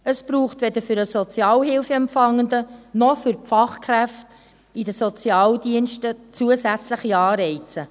Es braucht weder für den Sozialhilfeempfangenden, noch für die Fachkräfte in den Sozialdiensten zusätzliche Anreize.